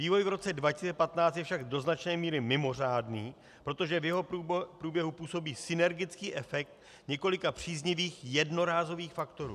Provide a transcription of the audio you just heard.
Vývoj v roce 2015 je však do značné míry mimořádný, protože v jeho průběhu působí synergický efekt několika příznivých jednorázových faktorů.